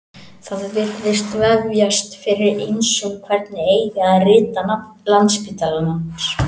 Það virðist vefjast fyrir ýmsum hvernig eigi að rita nafn Landspítalans.